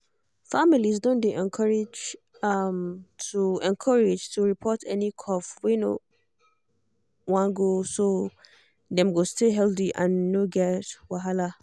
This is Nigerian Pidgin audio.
families don dey encouraged to encouraged to report any cough wey no wan go so dem go stay healthy and no get wahala.